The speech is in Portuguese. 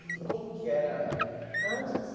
E como que era... Antes?